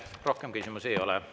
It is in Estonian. Rohkem küsimusi ei ole.